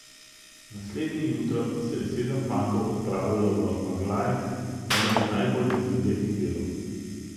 Naslednje jutro se je sedem fantov odpravilo v Maglaj, enega najbolj prizadetih delov.